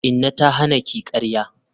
Inna ta hana ki karya?